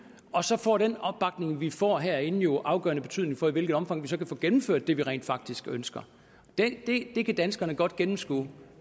og så får den opbakning vi får herinde jo afgørende betydning for i hvilket omfang vi så kan få gennemført det vi rent faktisk ønsker det kan danskerne godt gennemskue